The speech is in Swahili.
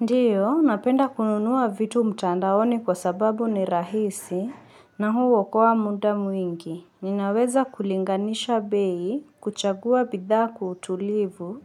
Ndiyo, napenda kununua vitu mtandaoni kwa sababu ni rahisi na huu wakoa muda mwingi. Ninaweza kulinganisha bei, kuchagua bidhaa kwa utulivu